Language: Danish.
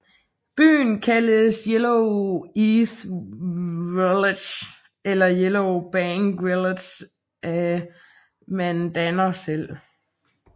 Byen kaldes Yellow Earth Village eller Yellow Bank Village af mandanerne selv